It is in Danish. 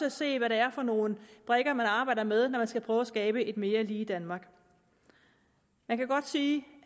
at se hvad det er for nogle brikker man arbejder med når man skal prøve at skabe et mere lige danmark man kan godt sige